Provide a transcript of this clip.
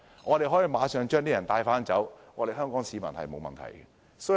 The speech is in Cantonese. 我們可以馬上送走那些外勞，不會對香港市民構成問題。